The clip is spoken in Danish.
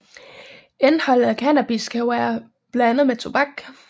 Indeholdet af cannabis kan være blandet med tobak